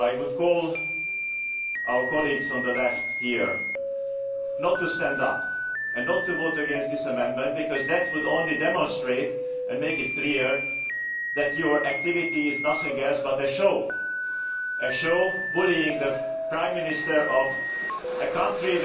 So I would call on our colleagues on the Left here not to vote against this amendment because that would only demonstrate and make clear that your activity is nothing but a show a show bullying the Prime Minister of a country